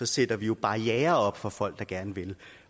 sætter vi jo barrierer op for folk der gerne vil